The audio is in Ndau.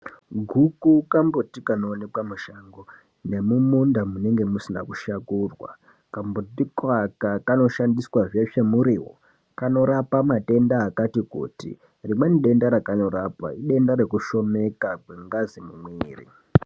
Guku kambuti kanoonekwa mushango nemumunda munenge musina kushakurwa. Kambuti koaka kanoshandiswazve semurivo kanorapa matenda akati kuti. Rimweni denda rakanorapa idenda rekushomeka kwengazi mumwiri.